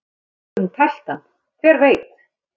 Kannski hefur hún tælt hann, hver veit?